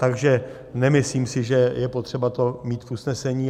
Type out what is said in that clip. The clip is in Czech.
Takže nemyslím si, že je potřeba to mít v usnesení.